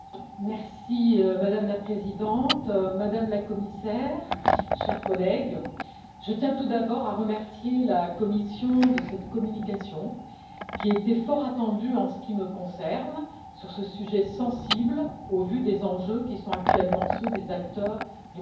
Madame la Présidente, Madame la Commissaire, chers collègues, je tiens tout d'abord à remercier la Commission de cette communication, qui était fort attendue, en ce qui me concerne, sur ce sujet sensible, au vu des enjeux qui sont actuellement ceux des acteurs du modèle de secours.